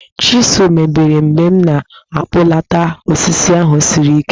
Chizụl mebiri mgbe m na-akpụlata osisi ahụ siri ike